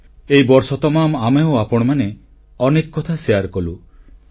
ଏହି ବର୍ଷ ତମାମ ଆମେ ଓ ଆପଣମାନେ ଅନେକ କଥା ପରସ୍ପର ମଧ୍ୟରେ ବାଣ୍ଟିଲେ